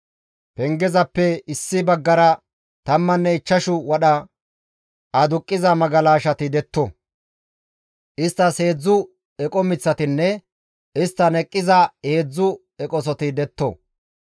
pengezappe issi baggara tammanne ichchashu wadha aduqqiza magalashati detto; isttas heedzdzu eqo miththatinne isttan eqqiza heedzdzu eqosoti detto.